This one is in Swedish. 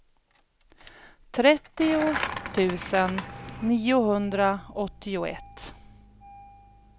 trettio tusen niohundraåttioett